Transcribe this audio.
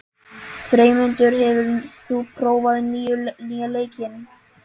Freymundur, hefur þú prófað nýja leikinn?